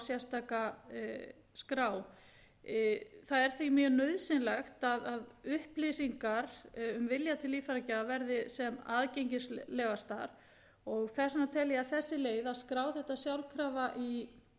sérstaka skrá það er því mjög nauðsynlegt að upplýsingar um vilja til líffæragjafa verði sem aðgengilegastar og þess vegna tel ég að þessi leið að skrá þetta sjálfkrafa